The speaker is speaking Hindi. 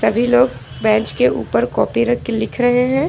सभी लोग बेंच के ऊपर कॉपी रख के लिख रहे हैं।